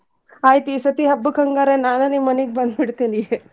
ಆಯ್ತ್ ಈಸತಿ ಹಬ್ಬಕ್ಕ್ ಹಂಗಾರ ನಾನ್ ನಿಮ್ಮ್ ಮನಿಗ ಬಂದ್ ಬಿಡ್ತೀನಿ.